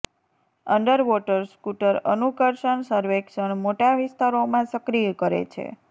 underwater scooter અનુકર્ષણ સર્વેક્ષણ મોટા વિસ્તારોમાં સક્રિય કરે છે